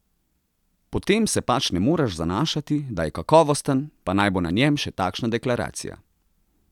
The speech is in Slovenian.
Potem se pač ne moreš zanašati, da je kakovosten, pa naj bo na njem še takšna deklaracija.